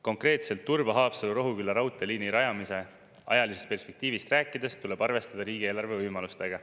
Konkreetselt Turba-Haapsalu-Rohuküla raudteeliini rajamise ajalisest perspektiivist rääkides tuleb arvestada riigieelarve võimalustega.